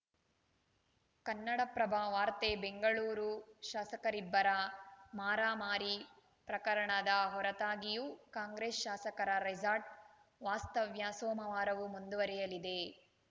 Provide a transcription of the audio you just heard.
ಕನ್ನಡಪ್ರಭ ವಾರ್ತೆ ಬೆಂಗಳೂರು ಶಾಸಕರಿಬ್ಬರ ಮಾರಾಮಾರಿ ಪ್ರಕರಣದ ಹೊರತಾಗಿಯೂ ಕಾಂಗ್ರೆಸ್‌ ಶಾಸಕರ ರೆಸಾರ್ಟ್‌ ವಾಸ್ತವ್ಯ ಸೋಮವಾರವೂ ಮುಂದುವರೆಯಲಿದೆ